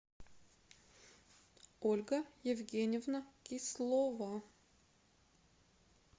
ольга евгеньевна кислова